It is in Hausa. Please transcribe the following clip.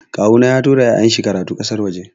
Kawuna ya tura ya'yan shi karatu a ƙasar waje.